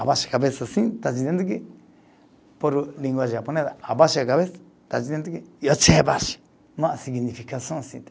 Abaixa a cabeça assim, está dizendo que. Por língua japonesa, abaixa a cabeça, está dizendo que Uma significação assim.